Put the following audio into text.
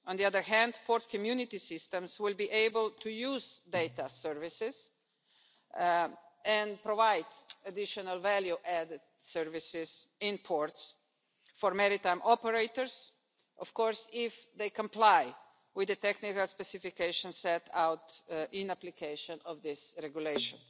On the other hand, port community systems will be able to use data services and provide additional value added services in ports for maritime operators, of course if they comply with the technical specifications set out in the application of this regulation.